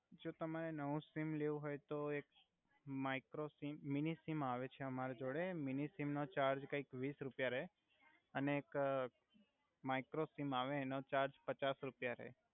જો તમે નવુ સિમ લેવુ હોય તો એક માઈક્રો સિમ મિનિ સિમ આવે છે અમાર જોડે મિનિ સિમ નો ચાર્જ કઈક વિસ રુપિયા રે અને એક માઈક્રો સિમ આવે એનો ચાર્જ પચાસ રુપિયા રે